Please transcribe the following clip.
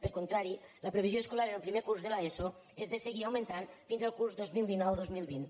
per contra la previsió escolar en el primer curs de l’eso és de seguir augmentant fins al curs dos mil dinou dos mil vint